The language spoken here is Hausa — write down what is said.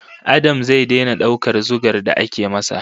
Adam zai daina daukar zugar da ake masa